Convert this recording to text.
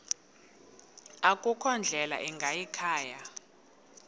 akukho ndlela ingayikhaya